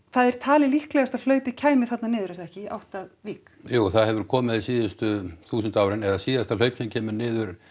það er talið líklegast að hlaupið kæmi þarna niður er það ekki í átt að Vík jú það hefur komið síðustu þúsund árin eða síðasta hlaup sem kemur niður